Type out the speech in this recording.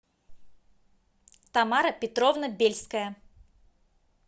тамара петровна бельская